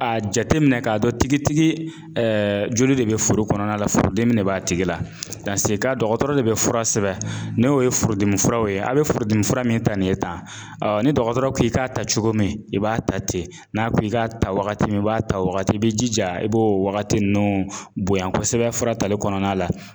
A jateminɛ k'a dɔn tigitigi joli de be foro kɔnɔna la furudimi de b'a tigi la. dɔgɔtɔrɔ de bɛ fura sɛbɛn n'o ye furudimi furaw ye a' be furudimi fura min ta nin ye tan, ni dɔgɔtɔrɔ k'i k'a ta cogo min i b'a ta ten, n'a ko i k'a ta wagati min i b'a ta o wagati i b'i jija i b'o wagati ninnu bonya kosɛbɛ fura tali kɔnɔna la.